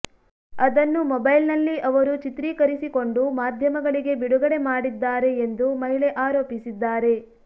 ಅದನ್ನು ಮೊಬೈಲ್ ನಲ್ಲಿ ಅವರು ಚಿತ್ರೀಕರಿಸಿಕೊಂಡು ಮಾಧ್ಯಮಗಳಿಗೆ ಬಿಡುಗಡೆ ಮಾಡಿದ್ದಾರೆ ಎಂದು ಮಹಿಳೆ ಆರೋಪಿಸಿದ್ದಾರೆ